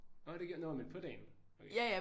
Nå det gjorde de nå men på dagen? Okay